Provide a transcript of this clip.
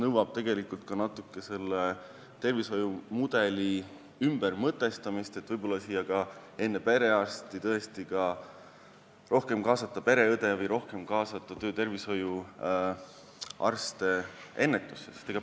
Ehk oleks vaja kogu tervishoiumudel ümber mõtestada ja võib-olla tuleks enne perearsti kaasata rohkem pereõde või töö- ja tervishoiuarste.